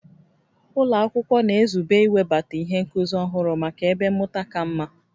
Ụlọ akwụkwọ na-ezube iwebata ihe nkuzi ọhụrụ maka ebe mmụta ka mma